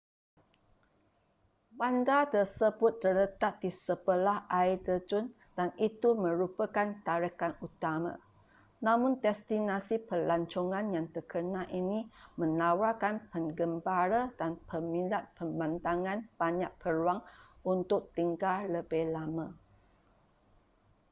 bandar tersebut terletak di sebelah air terjun dan itu merupakan tarikan utama namun destinasi pelancongan yang terkenal ini menawarkan pengembara dan peminat pemandangan banyak peluang untuk tinggal lebih lama